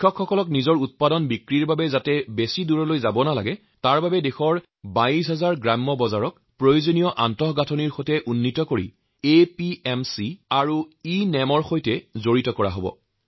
কৃষকসকলৰ নিজৰ উৎপাদিত শস্য বিক্ৰী কৰাৰ বাবে যাতে বহু দূৰ যাবলগা নহয়তাৰ বাবে দেশৰ ২২০০০ গ্ৰামীণ হাটৰ ক্ষীপ্ৰ পৰিকাঠামোৰ সৈতে আপগ্ৰেড কৰি এপিএমচি আৰ ইনাম মঞ্চৰ সৈতে সংযুক্ত কৰা হব